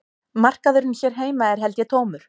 Markaðurinn hér heima er held ég tómur